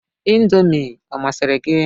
Indomi ọ masịrị gị?